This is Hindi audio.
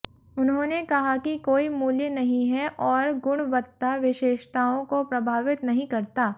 उन्होंने कहा कि कोई मूल्य नहीं है और गुणवत्ता विशेषताओं को प्रभावित नहीं करता